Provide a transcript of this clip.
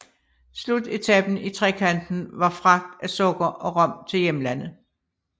Slutetapen i trekanten var fragt af sukker og rom til hjemlandet